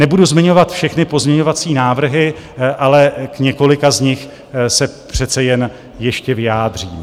Nebudu zmiňovat všechny pozměňovací návrhy, ale k několika z nich se přece jen ještě vyjádřím.